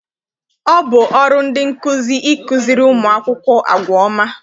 Ọ bụ ọrụ ndị nkụzi ịkụziri ụmụ akwụkwọ àgwà ọma.